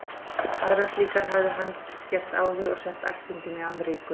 Aðrar slíkar hafði hann gert áður og sent ættingjum í Amríku.